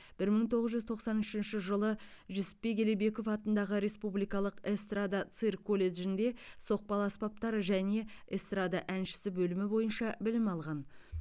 бір мың тоғыз жүз тоқсан үшінші жылы жүсіпбек елебеков атындағы республикалық эстрада цирк колледжінде соқпалы аспаптар және эстрада әншісі бөлімі бойынша білім алған